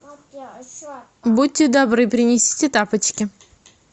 будьте добры принесите тапочки